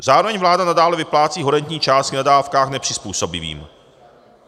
Zároveň vláda nadále vyplácí horentní částky na dávkách nepřizpůsobivým.